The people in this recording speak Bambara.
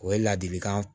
O ye ladilikan